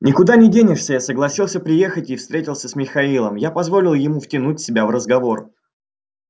никуда не денешься я согласился приехать и встретился с михаилом я позволил ему втянуть себя в разговор